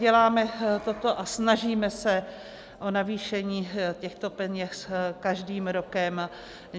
Děláme toto a snažíme se o navýšení těchto peněz každým rokem.